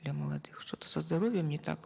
для молодых что то со здоровьем не так